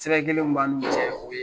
Sɛbɛn kelen min b'an n'u cɛ